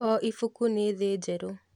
O ibuku nĩ thĩ njerũ.